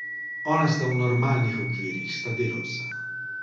Ona sta v normalnih okvirih, sta delavca.